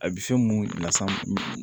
A bɛ se mun las'an ma